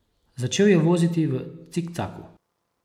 Začel je voziti v cikcaku.